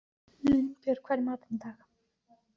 Línbjörg, hvað er í matinn á miðvikudaginn?